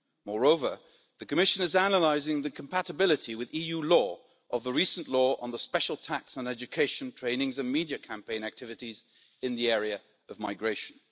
Moreover, the Commission is analysing the compatibility with EU law of Hungary's recent law on the special tax on education, training and media campaign activities in the area of migration.